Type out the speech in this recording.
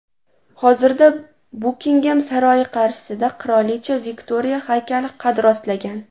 Hozirda Bukingem saroyi qarshisida qirolicha Viktoriya haykali qad rostlagan.